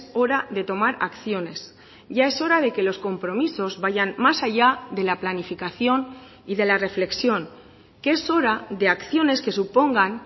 hora de tomar acciones ya es hora de que los compromisos vayan más allá de la planificación y de la reflexión que es hora de acciones que supongan